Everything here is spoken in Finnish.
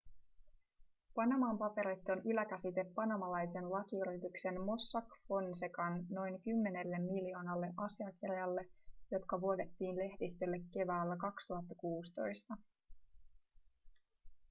panaman paperit on yläkäsite panamalaisen lakiyrityksen mossack fonsecan noin kymmenelle miljoonalle asiakirjalle jotka vuodettiin lehdistölle keväällä 2016